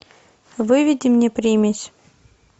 выведи мне примесь